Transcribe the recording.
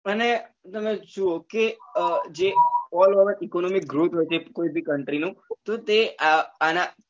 અને તમે જુઓ કે અ જે કોઈ બી country એ તો તે અ આના